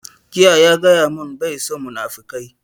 Jiya ya gaya mun bai son munafukai